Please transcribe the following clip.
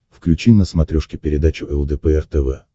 включи на смотрешке передачу лдпр тв